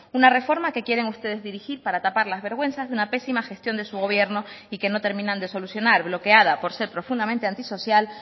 una reforma que quieren ustedes dirigir para tapar las vergüenzas de una pésima gestión de su gobierno y que no terminan de solucionar bloqueada por ser profundamente antisocial